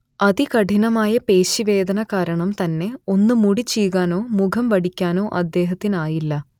അതികഠിനമായ പേശി വേദന കാരണം തന്നെ ഒന്ന് മുടി ചീകാനോ മുഖം വടിക്കാനൊ അദ്ദേഹത്തിനായില്ല